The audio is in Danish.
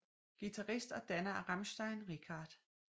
Guitarist og danner af Rammstein Richard Z